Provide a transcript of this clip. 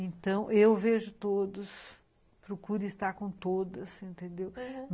Então, eu vejo todas, procuro estar com todas, entendeu? aham